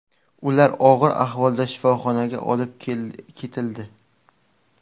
Ular og‘ir ahvolda shifoxonaga olib ketildi.